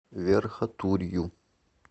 верхотурью